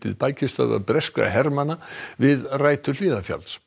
bækistöðvar breskra hermanna við rætur Hlíðarfjalls